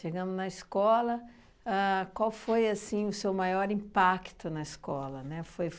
Chegando na escola, ahn qual foi, assim, o seu maior impacto na escola, né, foi